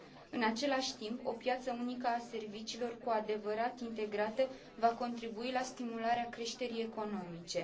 În același timp, o piață unică a serviciilor cu adevărat integrată va contribui la stimularea creșterii economice.